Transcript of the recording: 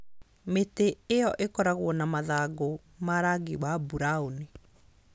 Mĩtĩ ĩyo ĩkoragwo na mathangũ ma rangi wa burauni.